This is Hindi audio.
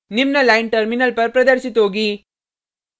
निम्न लाइन टर्मिनल पर प्रदर्शित होगी